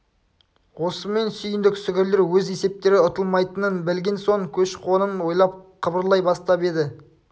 осымен сүйіндік сүгірлер өз есептері ұтылмайтынын білген соң көш-қонын ойлап қыбырлай бастап еді